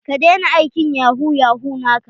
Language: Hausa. Ka daina aikin yahu yahu naka.